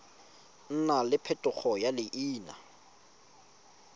nna le phetogo ya leina